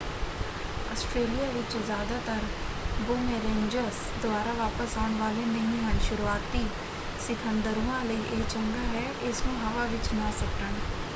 Australia ਵਿੱਚ ਜ਼ਿਆਦਾਤਰ boomerangs ਦੁਬਾਰਾ ਵਾਪਸ ਆਉਣ ਵਾਲੇ ਨਹੀਂ ਹਨ। ਸ਼ੁਰੂਆਤੀ ਸਿਖਾਂਦਰੂਆਂ ਲਈ ਇਹ ਚੰਗਾ ਹੈ ਇਸਨੂੰ ਹਵਾ ਵਿੱਚ ਨਾ ਸੁੱਟਣ।